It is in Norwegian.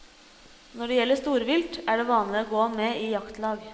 Når det gjelder storvilt, er det vanlig å gå med i jaktlag.